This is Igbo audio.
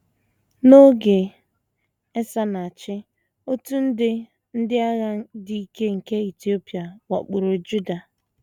N’oge Esa na - achị, otu nde ndị agha dị ike nke Etiopia wakporo Juda.